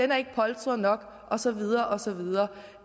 der ikke er polstret nok og så videre og så videre